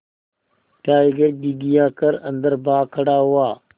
tiger घिघिया कर अन्दर भाग खड़ा हुआ